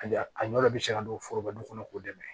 A ɲɔ de bi se ka don forobali kɔnɔ k'o dɛmɛ